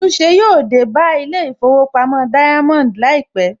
Àtúnṣe yóò tó dé bá Ilé ìfowópamọ́ Diamond láìpẹ̀